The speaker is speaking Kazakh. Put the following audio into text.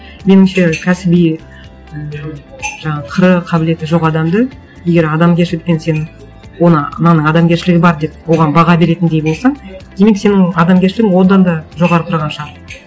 меніңше кәсіби ііі жаңағы қыры қабілеті жоқ адамды егер адамгершілікпен сен оны мынаның адамгершілігі бар деп оған баға беретіндей болсаң демек сенің адамгершілігің одан да жоғары тұрған шығар